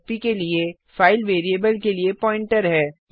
fp के लिए file variable के लिए प्वाइंटर है